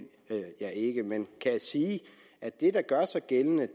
jeg ikke men kan sige at det der gør sig gældende